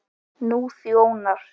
Nú þjónar